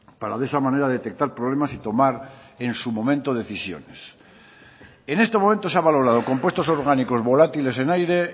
para de esa manera detectar problemas y tomar en su momento decisiones en este momento se ha valorado compuestos orgánicos volátiles en aire